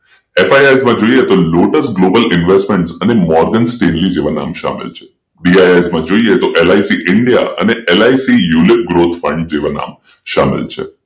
FIS માં જોઈએ તો લોટસ ગ્લોબલ ઇન્વેસ્ટમેન્ટ અને મોર્ગન સ્ટેન્લી જેવા નામ શામેલ છે BIS જોઈએ તો એલ. આઇ. સી ઇન્ડિયા અને L. I. C unit growth પણ જેવા નામ શામેલ છે